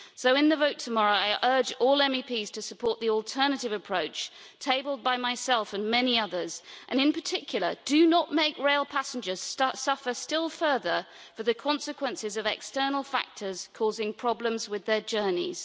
So, in the vote tomorrow, I urge all MEPs to support the alternative approach tabled by myself and many others in particular, do not make rail passengers suffer still further for the consequences of external factors causing problems with their journeys.